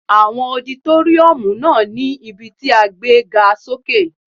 Àwọn ọditóríọ̀mù náà ní ibí tí a gbé ga sókè